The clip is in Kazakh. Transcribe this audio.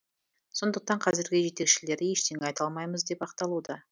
сондықтан қазіргі жетекшілері ештеңе айта алмаймыз деп ақталуда